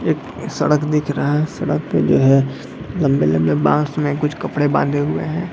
एक सड़क दिख रहा है सड़क पे जो है लम्बे लम्बे बाँस में कुछ कपड़े बांधे हुए हैं।